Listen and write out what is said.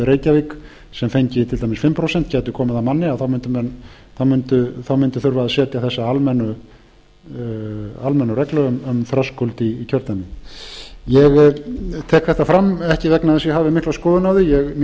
reykjavík sem fengi til dæmis fimm prósent gæti komið að manni þá mundi þurfa að setja almenna reglu um þröskuld í kjördæminu ég tek þetta fram ekki vegna þess að ég hafi mikla skoðun á því mér